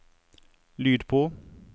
lyd på